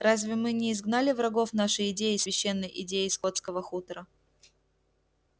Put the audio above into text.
разве мы не изгнали врагов нашей идеи священной идеи скотского хутора